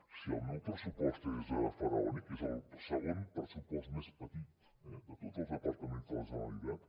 si el meu pressupost és faraònic és el segon pressupost més petit eh de tots els departaments de la generalitat